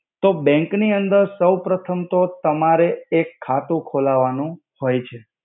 તો બેંક નિ અંદર સૌપ્રથમ તો ત્મારે એક ખાતુ ખોલાવાનુ હોય છે.